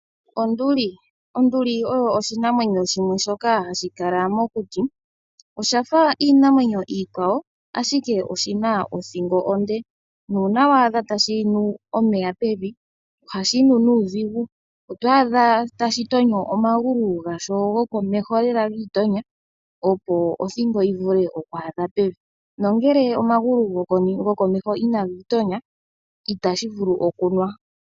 Onduli, onduli oyo oshinamwenyo shimwe shoka hashi kala mokuti, oshafa iinamwenyo iikwawo ashike oshina othingo onde, nuuna wa adha tashi nu omeya pevi ohashi nu nuudhigu, oto a dha tashi to nyo omagulu gawo gokomeho lela giitonya opo othingo yi vule oku a dha pevi nongele omagulu gokomeho inagiitonya itashi vulu oku nwa.